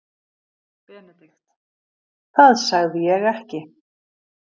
BENEDIKT: Það sagði ég ekki.